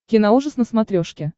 киноужас на смотрешке